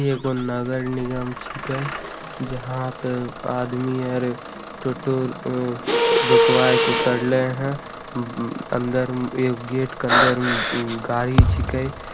इ एगो नगर निगम छीके जहां पे आदमी और ट्यूटर रुकवाया कुटरले है अंदर एक गेट के अंदर एक गाड़ी छीके--